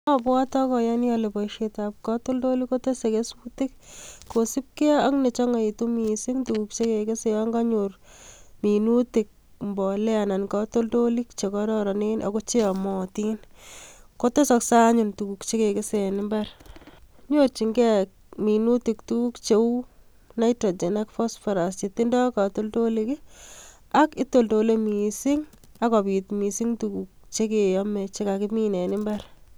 Abwote ak ayoni ole booshietab katoltolik kotese kesutik kosiiibge ak nechongoitu missing yon konyor minutik mbolea, anan katoltolik chekororonen anan ko cheyomotin kotesoksei anyone tuguuk chekigese en imbar. Ak nyorchingei minutik tuguk cheu nitrogen ak phosphorus, akitoltolee missing ak kobiit missing tuguuk chekeome chekakimin en imbar